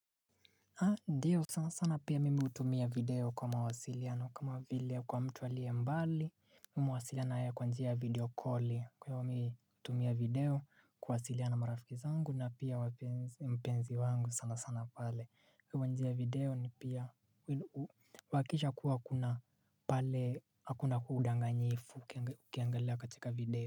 Ndiyo sana sana pia mimi hutumia video kwa mawasiliano kama vile kwa mtu alie mbali Mimi huwasilia na yeye kwa njia video calli kwahiyo mimi hutumia video kuwawasilia na marafiki zangu na pia mpenzi wangu sana sana pale Kwa njia video ni pia huwakikisha kuwa hakuna pale hakuna udanganjifu ukiangalia katika video.